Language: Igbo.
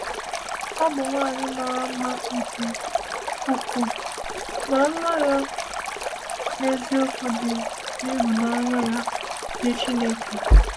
Ọ bụ nwanyị mara mma nke ukwuu, ma mma ya n’eziokwu dị n’ịhụnanya ya nye Chineke.